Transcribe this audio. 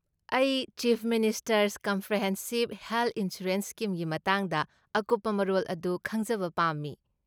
ꯑꯩ chief minister's comprehensive health insurance ꯁ꯭ꯀꯤꯝꯒꯤ ꯃꯇꯥꯡꯗ ꯑꯀꯨꯞꯄ ꯃꯔꯣꯜ ꯑꯗꯨ ꯈꯪꯖꯕ ꯄꯥꯝꯃꯤ ꯫